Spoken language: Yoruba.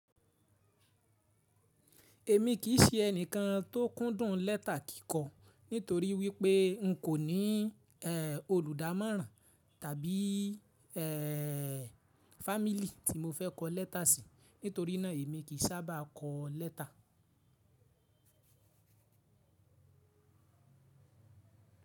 Èmi kì í ṣe ẹni kan tó kúndùn lẹ́tà kíkọ, nítorí wípé n kò ní olùdámọ̀ran tàbí fámílì tí mo fẹ́ kọ lẹ́tà sí, nítorí náà èmi kì í sábà kọ lẹ́tà.